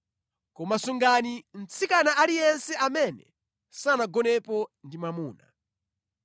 koma sungani mtsikana aliyense amene sanagonepo ndi mwamuna.